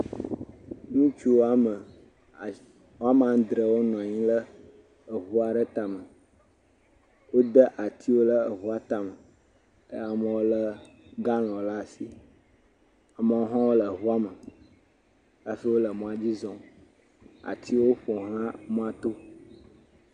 Ŋutsu wɔme asie wɔme adre wonɔ anyi ɖe eŋu aɖe ta me. Wode atsiwo ɖe eŋua tame eye amewo le galɔn ɖe asi. amewo hã le ŋua me hafi wole mɔa dzi zɔm. atiwo ƒoxla mɔato